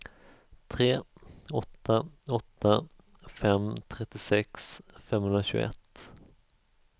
tre åtta åtta fem trettiosex femhundratjugoett